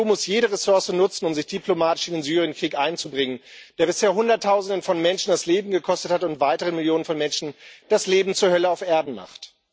Die EU muss jede Ressource nutzen, um sich diplomatisch in den Syrienkrieg einzubringen, der bisher Hunderttausenden von Menschen das Leben gekostet hat und weiteren Millionen von Menschen das Leben zur Hölle auf Erden macht.